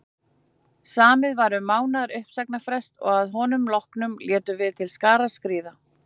Samið var um mánaðar uppsagnarfrest og að honum loknum létum við til skarar skríða.